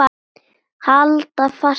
Halda fast í hann!